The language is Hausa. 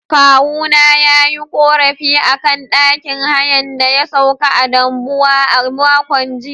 Kawuna ya yi ƙorafi a akan ɗakin hayan da ya sauka a Dambuwa a makon jiya.